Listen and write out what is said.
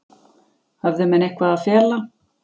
Höfðu menn eitthvað að fela?